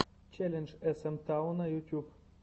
челлендж эс эм тауна ютуб